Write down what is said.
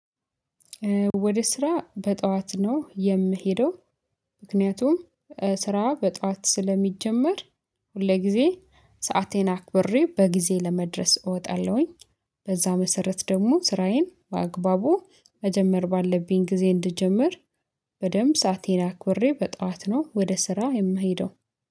ወደ ስራ በጠዋት ነው የምሄደው። ምክንያቱም ስራ በጠዋት ስለሚጀመር ሁልጊዜ ሰአቴን አክብሬ በጊዜ ለመድረስ እወጣለሁኝ። በዛ መሰረት ደግሞ ስራዬን በአግባቡ መጀመር ባለብኝ ጊዜ እንድጀምር በደንብ ሰአቴን አክብሬ በጧት ነው ወደ ስራ የምሄደው